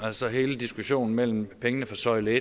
altså hele diskussionen om pengene fra søjle